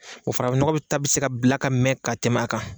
O farafinnɔgɔ bɛ ta bɛ se ka bila ka mɛn ka tɛmɛ a kan.